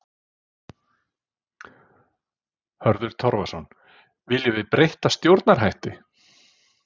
Hörður Torfason: Viljum við breytta stjórnarhætti?